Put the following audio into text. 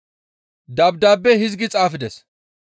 Dabdaabe hizgi xaafides;